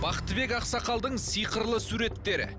бақтыбек ақсақалдың сиқырлы суреттері